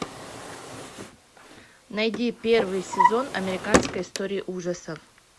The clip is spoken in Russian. найди первый сезон американской истории ужасов